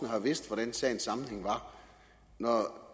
har jo vidst hvordan sagens sammenhæng var og når